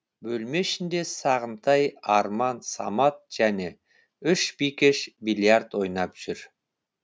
бөлме ішінде сағынтай арман самат және үш бикеш бильярд ойнап жүр